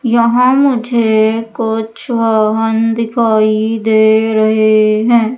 यहां मुझे कुछ वाहन दिखाई दे रहे हैं।